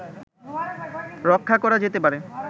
রক্ষা করা যেতে পারে